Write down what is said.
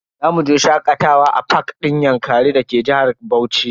Zamu je shakatawa a fak din yankari da ke jihar Bauchi.